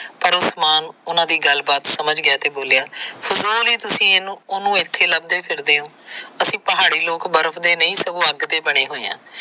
ਪਰ ਉਸਮਾਨ ਉਹਨਾਂ ਦੀ ਗੱਲਬਾਤ ਸਮਝ ਗਿਆਂ ਤੇ ਬੋਲਿਆ ਫਜ਼ੂਲ ਹੀ ਤੁਸੀ ਉਹਨੂੰ ਇਥੇ ਲਭਦੇ ਫਿਰਦੇ ਹੋ। ਅਹੀ ਪਹਾੜੀ ਲੋਕ ਬਰਫ ਦੇ ਨਹੀ ਸਗੋ ਅੱਗ ਦੇ ਬਣੇ ਹੋਏ ਆ।